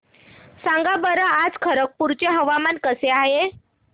सांगा बरं आज खरगपूर चे हवामान कसे आहे